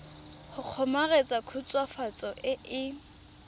go kgomaretsa khutswafatso e e